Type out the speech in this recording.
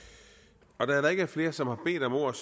der er der ikke er flere som har bedt om ordet